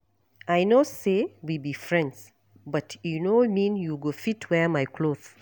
I know say we be friends but e no mean you go fit wear my cloth